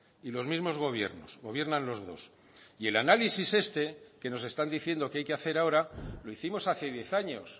y los mismos gobiernos gobiernan los dos y el análisis este que nos están diciendo que hay que hacer ahora lo hicimos hace diez años